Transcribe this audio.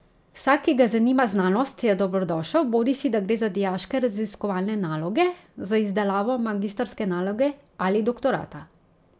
Vsak, ki ga zanima znanost, je dobrodošel, bodisi da gre za dijaške raziskovalne naloge, za izdelavo magistrske naloge ali doktorata.